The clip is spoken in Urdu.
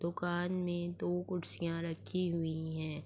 دکان مے دو کرسیا رکھی ہوئی ہے۔